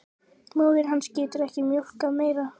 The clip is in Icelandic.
Móðir hans getur ekki mjólkað meira.